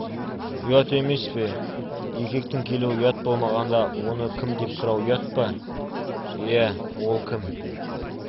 ұят емес пе үйге еркектің келуі ұят болмағанда оны кім деп сұрау ұят па иә ол кім